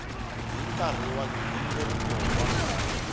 hi nkarhi wa nghingiriko wa